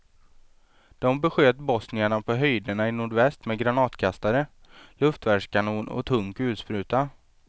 De besköt bosnierna på höjderna i nordväst med granatkastare, luftvärnskanon och tung kulspruta.